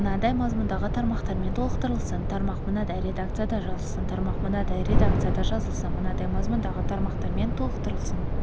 мынадай мазмұндағы тармақтармен толықтырылсын тармақ мынадай редакцияда жазылсын тармақ мынадай редакцияда жазылсын мынадай мазмұндағы тармақпен толықтырылсын